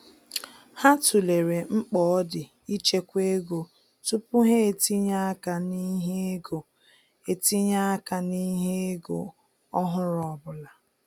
Ha tụlere mkpa ọ di ịchekwa ego tupu ha etinye-aka n'ihe ego etinye-aka n'ihe ego ọhụrụ ọbụla.